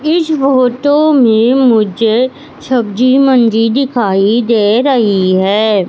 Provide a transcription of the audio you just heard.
इस फोटो में मुझे सब्जी मंडी दिखाई दे रही है।